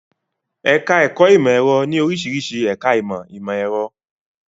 Ẹ̀ká ẹ̀kọ́ ìmọ̀ ẹ̀rọ ní oríṣiríṣi ẹ̀ká ìmọ̀ ìmọ̀ ẹ̀rọ